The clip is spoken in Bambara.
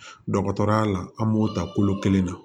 Dɔgɔtɔrɔya la an b'o ta kolo kelen na